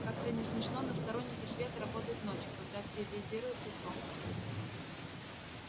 как это ни смешно но сторонники света работают ночью когда активизируются тёмные